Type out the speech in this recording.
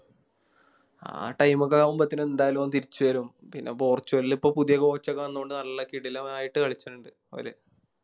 ആ Time ഒക്കെ ആവുമ്പത്തേനും എന്തായാലും ഓൻ തിരിച്ച് വരും പിന്നെ പോർട്ടുഗലിൽ ഇപ്പൊ പുതിയ Coach ഒക്കെ വന്നോണ്ട് നല്ല കിടിലമായിട്ട് കളിചിണിണ്ട് ഓല്